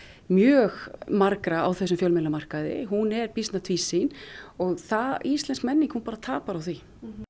mjög margra á þessum fjölmiðlamarkaði er býsna tvísýn og íslensk menning hún bara tapar á því